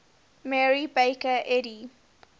mary baker eddy